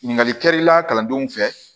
Ɲininkali kɛli la kalandenw fɛ